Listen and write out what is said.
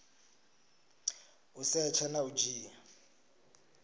u setsha na u dzhia